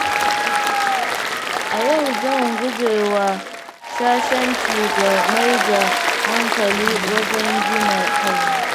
A yau, zan gujewa shashanci da maida hankali wajen gina kaina.